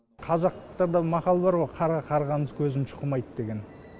қазақта да мақал бар ғой қарға қарғаның көзін шұқымайды деген